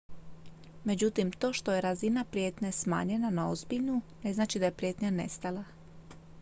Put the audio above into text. međutim to što je razina prijetnje smanjena na ozbiljnu ne znači da je prijetnja nestala